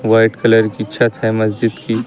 White colour की छत है मस्जिद की।